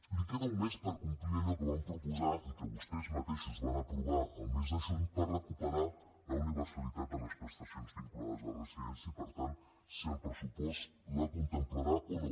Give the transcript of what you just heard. li queda un mes per complir allò que van proposar i que vostès mateixos van aprovar el mes de juny per recuperar la universalitat de les prestacions vinculades a la residència i per tant si el pressupost ho contemplarà o no